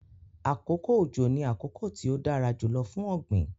Akókò ọjọ́ ní akókò tí o dara jùlọ̀ fún ogbin